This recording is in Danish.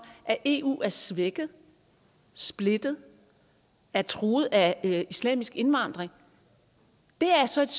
at eu er svækket splittet er truet af islamisk indvandring er så et